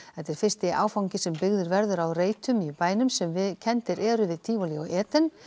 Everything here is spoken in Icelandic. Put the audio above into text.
þetta er fyrsti áfangi sem byggður verður á reitum í bænum sem kenndir eru við Tívolí og Eden